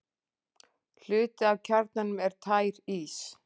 Hluti af kjarnanum er tær ís.